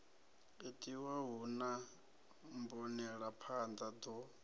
itiwa hu na mbonelaphanḓa ḓo